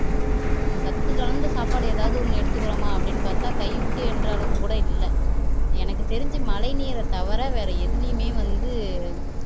நம்ம சத்து கலந்த சாப்பாடு ஏதாவது எடுத்துக்கிறோமா அப்படின்னு பாத்தா கைய விட்டு எண்ணுற அளவுக்கு கூட இல்லை எனக்கு தெரிஞ்சு மழை நீரை தவிர வேற எதிலேயுமே வந்து